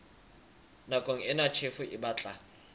nakong ena tjhefo e batla